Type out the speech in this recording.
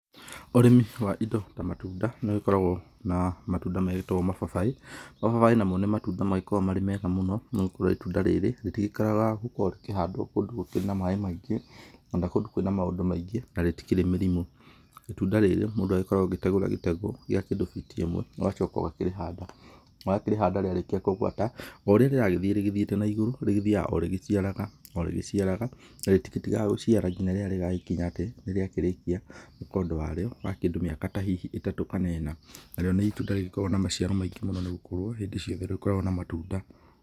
Ũrĩmi wa indo ta matunda nĩ ũgĩkoragwo na matunda magĩtagwo mababaĩ, mababaĩ namo nĩ matunda magĩkoragwo marĩ mega mũno, nĩ gũkorwo itunda rĩrĩ, rĩtikĩagaga gũkorwo rĩkĩhandwo kũndũ gũkĩrĩ na maĩ maingĩ kana kũndũ kwĩ na maũndũ maingĩ, na rĩtikĩrĩ mĩrimũ. Itunda rĩrĩ mũndũ agĩkoragwo agĩtegũra gĩtegũ gĩa kĩndũ biti ĩmwe, ũgacoka ũgakĩrĩhanda, na wakĩrĩhanda rĩarĩkia kũgwata, o ũrĩa rĩragĩthiĩ rĩgĩthiĩte na igũrũ, rĩgĩthiaga o rĩgĩciaraga o rĩgĩciaraga, na rĩtigĩtigaga gũgĩciara nginya rĩrĩa rĩgagĩkinya atĩ nĩ rĩakĩrĩkia mũkondo warĩo, wa kĩndũ mĩaka ta hihi ĩtatũ kana ĩna, narĩo nĩ itunda rĩgĩkoragwo na maciaro maingĩ mũno nĩ gũkorwo hĩndĩ ciothe rĩkoragwo na matunda.